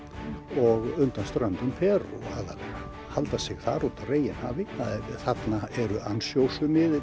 og undan ströndum Perú og halda sig þar úti á reginhafi þarna eru